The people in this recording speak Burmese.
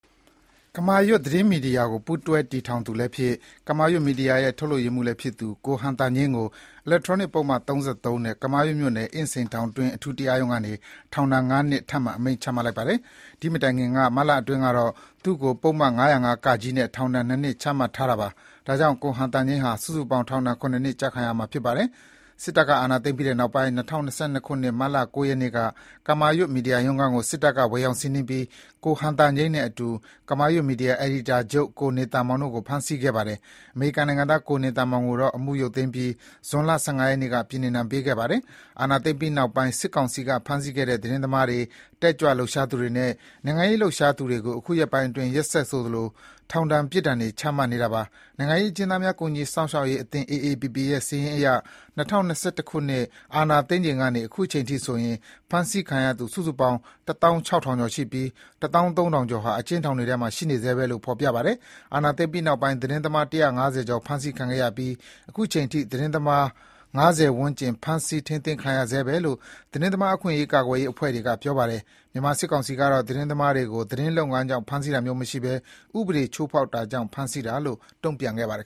ကမာရွတ်သတင်းမီဒီယာကို ပူးတွဲတည်ထောင်သူလည်းဖြစ်၊ ကမာရွတ်မီဒီယာရဲ့ ထုတ်လုပ်ရေးမှူးလည်းဖြစ်သူ ကိုဟံသာညိန်းကို အီလက်ထရောနစ်ပုဒ်မ ၃၃ နဲ့ ကမာရွတ်မြို့နယ်၊ အင်းစိန်ထောင်တွင်း အထူးတရားရုံးကနေ ထောင်ဒဏ် ၅ နှစ်ထပ်မံအမိန့်ချပါတယ်။ ဒီမတိုင်ခင်မတ်လတွင်းကတော့ သူ့ကို ပုဒ်မ ၅၀၅ (က) နဲ့ ထောင်ဒဏ်နှစ်နှစ် ချမှတ်ထားတာပါ။ ဒါကြောင့် ကိုဟံသာညိန်းဟာ စုစုပေါင်း ထောင်ဒဏ် ၇ နှစ်ကျခံရမှာဖြစ်ပါတယ်။ စစ်တပ်ကအာဏာသိမ်းပြီးတဲ့နောက် ၂၀၂၂ ခုနှစ် မတ်လ ၉ ရက်နေ့က ကမာရွတ် မီဒီယာရုံးခန်းကို စစ်တပ်က ဝင်ရောက်စီးနင်းပြီး ကိုဟံသာညိန်းနဲ့အတူ ကမာရွတ် မီဒီယာအယ်ဒီတာချုပ် ကိုနေသန်မောင်တို့ကို ဖမ်းဆီးခဲ့ပါတယ်။ အမေရိကန်နိုင်ငံသား ကိုနေသန်မောင်ကိုတော့ အမှုရုပ်သိမ်းပြီး ဇွန်လ ၁၅ ရက်နေ့က ပြည်နှင်ဒဏ် ပေးခဲ့ပါတယ်။ အာဏာသိမ်းပြီးနောက်ပိုင်း စစ်ကောင်စီက ဖမ်းဆီးခဲ့တဲ့ သတင်းသမားတွေ၊ တက်ကြွလှုပ်ရှားသူတွေနဲ့ နိုင်ငံရေးလှုပ်ရှားသူတွေကို အခုရက်ပိုင်းအတွင်း ရက်ဆက်ဆိုသလို ထောင်ဒဏ်ပြစ်ဒဏ်တွေ ချမှတ်နေတာပါ။ နိုင်ငံရေးအကျဉ်းသားများ ကူညီစောင့်ရှောက်ရေးအသင်း အေအေပီပီရဲ့ စာရင်းအရ ၂၀၂၁ ခုနှစ် အာဏာသိမ်းချိန်ကနေ ခုအချိန်အထိဆိုရင် ဖမ်းဆီးခံရသူ စုစုပေါင်း တသောင်းခြောက်ထောင်ကျော်ရှိပြီး တသောင်းသုံးထောင်ကျော်ဟာ အကျဉ်းထောင်တွေထဲမှာ ရှိနေဆဲပဲလို့ ဖော်ပြပါတယ်။ အာဏာသိမ်းပြီးနောက်ပိုင်း သတင်းသမား ၁၅၀ ကျော်ဖမ်းဆီးခံခဲ့ရပြီး အခုအချိန် အထိ သတင်းသမား ၅၀ ဝန်းကျင် ဖမ်းဆီးထိမ်းသိမ်းခံနေရဆဲပဲလို့ သတင်းသမားအခွင့်အရေးကာကွယ်ရေးအဖွဲ့တွေက ပြောပါတယ်။ မြန်မာစစ်ကောင်စီကတော့ သတင်းသမားတွေကို သတင်းလုပ်ငန်းကြောင့် ဖမ်းဆီးတာမျိုးမရှိဘဲ ဥပဒေချိုးဖောက်တာကြောင့် ဖမ်းဆီးတာလို့ တုံ့ပြန်ခဲ့ပါတယ်